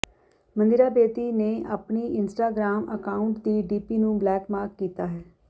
ਮੰਦਿਰਾ ਬੇਦੀ ਨੇ ਆਪਣੇ Instagram account ਦੀ ਡੀਪੀ ਨੂੰ ਬਲੈਕਮਾਰਕ ਕੀਤਾ ਹੈ